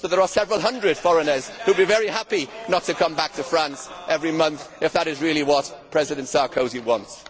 There are several hundred foreigners who would be very happy not to come back to France every month if that is really what President Sarkozy wants.